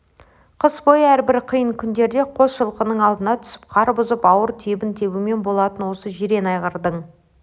қыс бойы әрбір қиын күндерде қос жылқының алдына түсіп қар бұзып ауыр тебін тебумен болатын осы жирен айғырдың